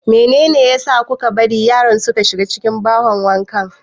Meyne ne a sa kuka bari yaran suka shiga cikin bahon wanka?